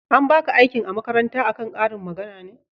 an baka aikin makaranta a kan ƙarin magana ne?